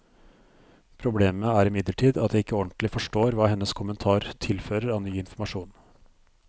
Problemet er imidlertid at jeg ikke ordentlig forstår hva hennes kommentar tilfører av ny informasjon.